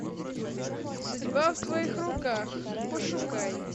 судьба в твоих руках пошукай